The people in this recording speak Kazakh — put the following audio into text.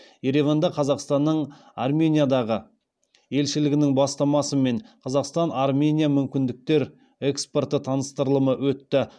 ереванда қазақстанның армениядағы елшілігінің бастамасымен қазақстан армения мүмкіндіктер экспорты таныстырылымы өтті